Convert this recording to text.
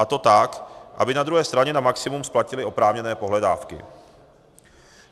A to tak, aby na druhé straně na maximum splatili oprávněné pohledávky.